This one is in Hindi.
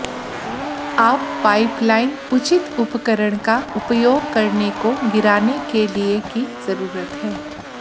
आप पाइपलाइन उचित उपकरण का उपयोग करने को गिराने के लिए की जरूरत है